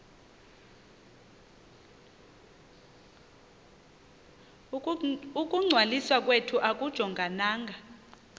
ukungcwaliswa kwethu akujongananga